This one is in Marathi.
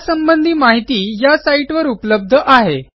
यासंबंधी माहिती या साईटवर उपलब्ध आहे